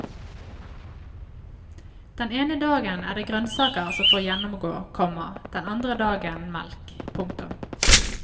Den ene dagen er det grønnsaker som får gjennomgå, komma den andre dagen melk. punktum